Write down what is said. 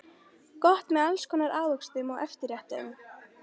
Gott með alls konar ávöxtum og eftirréttum.